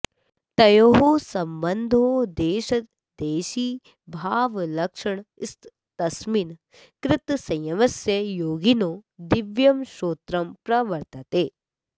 तयोः सम्बन्धो देशदेशिभावलक्षणस्तस्मिन् कृतसंयमस्य योगिनो दिव्यं श्रोत्रं प्रवर्तते